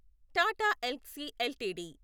Tata Elxsi LTD